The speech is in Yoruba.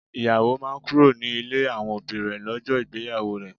Ìyàwó máa kúrò ní ilé àwọn òbí rè lọ́jọ́ ìgbéyàwó rẹ